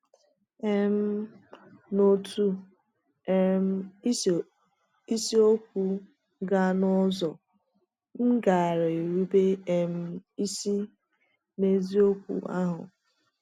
um N’otu um isi okwu gaa n’ọzọ, m gaara erube um isi n’eziokwu ahụ.